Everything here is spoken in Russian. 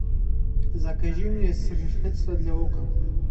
закажи мне средство для окон